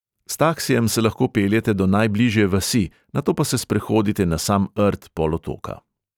S taksijem se lahko peljete do najbližje vasi, nato pa se sprehodite na sam rt polotoka.